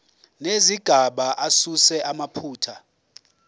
nezigaba asuse amaphutha